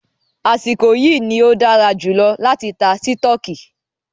Àsìkò yìí ní o dára jùlọ láti tá sítọ̀kì.